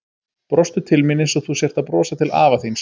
Brostu til mín einsog þú sért að brosa til afa þíns.